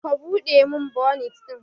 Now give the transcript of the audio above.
Ka Bude min bonit din!